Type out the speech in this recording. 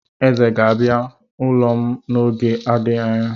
Eze ga-abịa ụlọ m n'oge na-adịghị anya.